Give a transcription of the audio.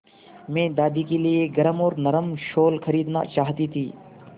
मैं दादी के लिए एक गरम और नरम शाल खरीदना चाहती थी